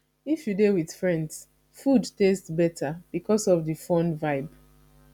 if you dey with friends food taste better because of the fun vibe